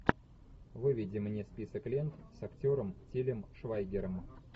выведи мне список лент с актером тилем швайгером